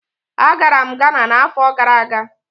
Agara m Ghana n'afọ gara aga.